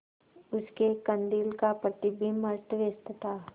उसके कंदील का प्रतिबिंब अस्तव्यस्त था